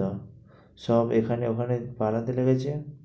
তো, সব এখানে ওখানে পালাতে লেগেছে।